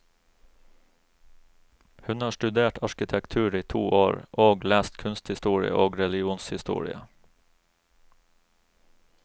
Hun har studert arkitektur i to år, og lest kunsthistorie og religionshistorie.